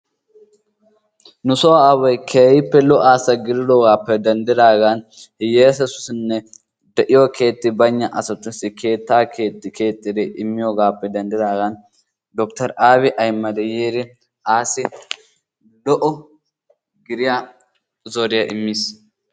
Nusoo aaway keehippe lo"a asa gididoogappe denddigaan hiyesatussinne keeti baynna asatussi keettaa keexxi keexxi immiyoogappe dendigaan dokter abiy ahmedi yiidi asi lo"o gidiyaa zoriyaa immiis.